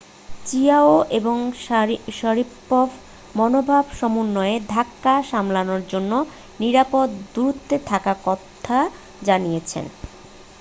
Qiao এবং Sharipov মনোভাব সমন্বয়ের ধাক্কা সামলানোর জন্য নিরাপদ দূরত্বে থাকার কথা জানিয়েছেন